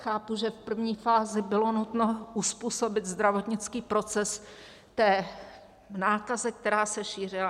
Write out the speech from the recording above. Chápu, že v první fázi bylo nutno uzpůsobit zdravotnický proces té nákaze, která se šířila.